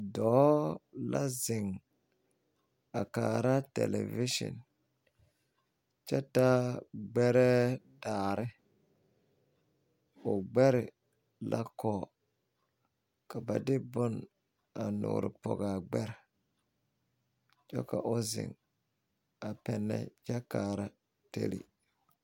Dɔɔ la zeŋ a kaara tɛlɛvesen kyɛ taa ɡbɛrɛɛ daare o ɡbɛre la kɔɔ ka ba de bon a nuurpɔɡe a ɡbɛr kyɛ ka o zeŋ a pɛnnɛ kyɛ kaara tele.